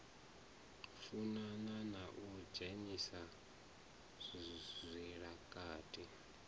funana na u dzhenisa zwilakati